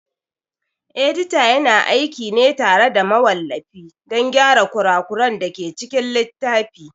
Edita yana aiki ne tare da mawallafi don gyara kura kuran dake cikin littafi